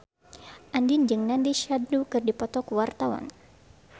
Andien jeung Nandish Sandhu keur dipoto ku wartawan